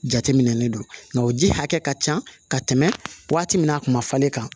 Jateminɛlen don nka o ji hakɛ ka ca ka tɛmɛ waati min a kun ma falen kan